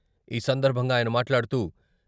ఈ సందర్భంగా ఆయన మాట్లాడుతూ..